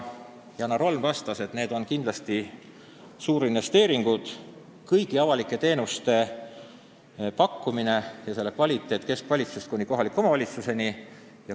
Janar Holm vastas, et need on kindlasti suurinvesteeringud, kõigi avalike teenuste pakkumine ja nende kvaliteet keskvalitsusest kuni kohaliku omavalitsuseni.